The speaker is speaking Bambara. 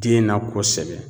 Den na kosɛbɛ